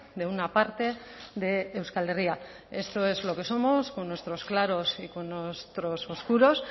de una parte de euskal herria esto es lo que somos con nuestros claros y con nuestros oscuros